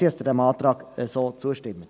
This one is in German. Danke, wenn Sie diesem Antrag so zustimmen.